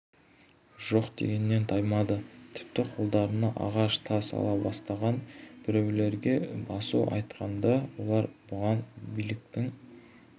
жоқ дегеннен таймады тіпті қолдарына ағаш тас ала бастаған біреулерге басу айтқанда олар бұған биліктің